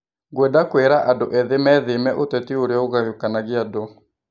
Ngwenda kwĩra andũ ethĩ mĩtheme ũteti ũrĩa ũgayũkanagia andũ.